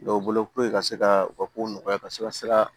Dɔw bolo puruke ka se ka u ka kow nɔgɔya ka se ka sira